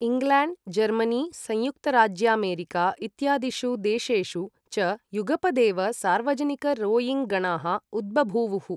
England, Germany, संयुक्तराज्यामेरिका इत्यादिषु देशेषु च युगपदेव सार्वजनिक रोइङ्ग गणाः उद्बभूवुः।